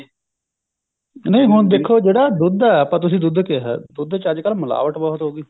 ਨਹੀਂ ਹੁਣ ਦੇਖੋ ਜਿਹੜਾ ਦੁੱਧ ਹੈ ਆਪਾਂ ਤੁਸੀਂ ਦੁੱਧ ਕਿਹਾ ਦੁੱਧ ਚ ਅੱਜਕਲ ਮਿਲਾਵਟ ਬਹੁਤ ਹੋ ਗਈ